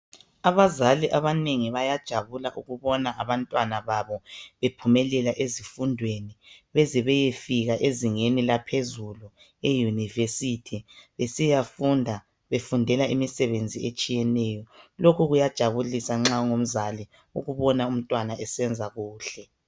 Abazali abanengi bayajabula ukubona abantwana babo bephumelela ezifundweni beze beyefika ezingeni laphezulu i"University "besiyafundisa befundela imisebenzi etshiyeneyo lokho kuyajabulisa nxa ungumzali ukubona umntwana esenza kuhle.